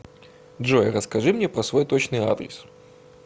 джой расскажи мне про свой точный адрес